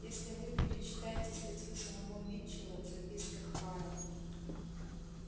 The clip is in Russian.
если вы перечитаете статью самого митчелла в записках фара